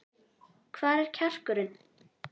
Hvar er kjarkurinn?